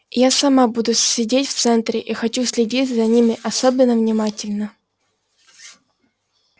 я сама буду сидеть в центре и хочу следить за ними особенно внимательно